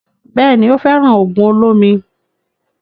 Bẹ́ẹ̀ni, ó fẹ́ràn ògùn olómi